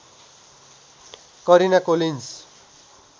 Karina Collins